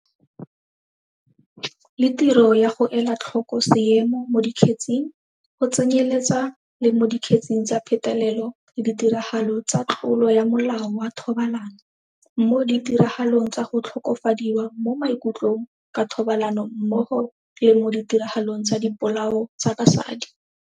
Le tiro ya go ela tlhoko seemo mo di kgetseng, go tsenyeletsa le mo dikgetseng tsa petelelo le ditiragalo tsa tlolo ya molao wa thobalano, mo ditiragalong tsa go tlhokofadiwa mo maikutlong ka thobalano mmogo le mo ditiragalong tsa dipolao tsa basadi.